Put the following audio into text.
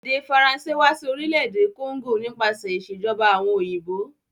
Èdè faracé wa si orílẹ̀dè Congo nípasẹ̀ ìsèjoba àwon òyìnbó